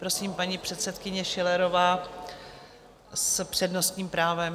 Prosím, paní předsedkyně Schillerová s přednostním právem.